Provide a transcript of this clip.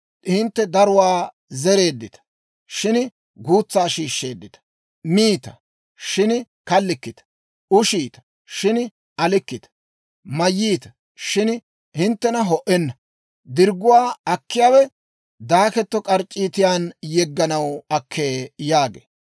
Hintte daruwaa zereeddita; shin guutsaa shiishsheeddita. Miita, shin kallikkita; ushiita, shin alikkita. Mayyiita, shin hinttena ho"enna; dirgguwaa akkiyaawe daaketto k'arc'c'iitiyaan yegganaw akkee» yaagee.